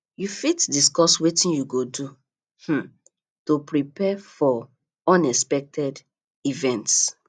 you fit discuss wetin you go do um to prepare for unexpected events